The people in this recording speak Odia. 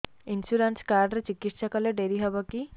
ଇନ୍ସୁରାନ୍ସ କାର୍ଡ ରେ ଚିକିତ୍ସା କଲେ ଡେରି ହବକି